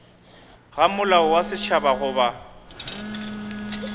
ga molao wa setšhaba goba